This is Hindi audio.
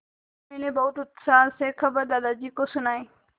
मैंने बहुत उत्साह से खबर दादाजी को सुनाई